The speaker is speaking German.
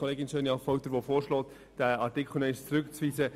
Kollegin Schöni-Affolter sagt es richtig: